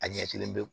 A ɲɛ kelen be yen